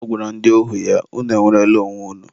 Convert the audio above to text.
ọ gwara ndị ohu ya, 'unu enwerela onwe unu'